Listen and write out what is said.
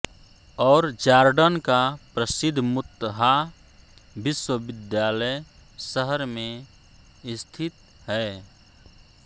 और जार्डन का प्रसिद्ध मुत्हा विश्वविद्यालय शहर में स्थित है